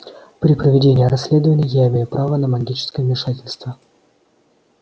при проведении расследования я имею право на магическое вмешательство